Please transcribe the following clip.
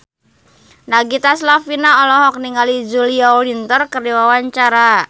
Nagita Slavina olohok ningali Julia Winter keur diwawancara